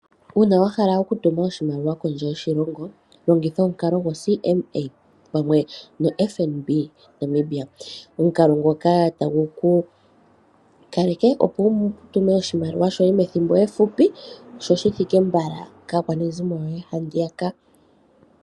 Uuna wahala okutuma oshimaliwa kondje yoshilongo, logitha omukalo gwo CMA pamwe noFNB moNamibia. Omukalo ngoka tagu ku kaleke opo wu tume oshimaliwa shoye muule wethimbo efupi , sho shithike mbala kaakwanezimo yoye handiyaka.